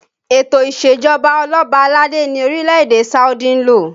Ètò isejọba oloba aládé ni orílẹ̀ èdè Saudi ń lò